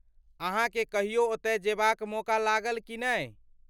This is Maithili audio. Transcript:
अहाँके कहियो ओतय जेबाक मौका लागल की नहि?